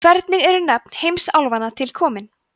hvernig eru nöfn heimsálfanna til komin